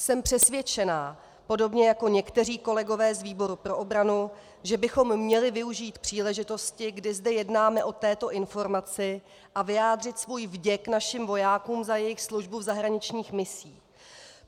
Jsem přesvědčena podobně jako někteří kolegové z výboru pro obranu, že bychom měli využít příležitosti, kdy zde jednáme o této informaci, a vyjádřit svůj vděk našim vojákům za jejich službu v zahraničních misích.